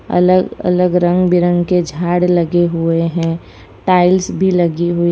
अलग अलग रंग बिरंग के झाड़ लगे हुए हैं टाइल्स भी लगी हुई--